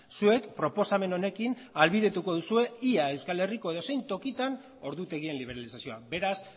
zuek proposamen honekin ahalbidetuko duzue ia euskal herriko edozein tokitan ordutegien liberalizazioa beraz